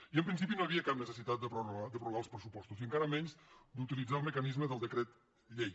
i en principi no hi havia cap necessitat de prorrogar els pressupostos i encara menys d’utilitzar el mecanisme del decret llei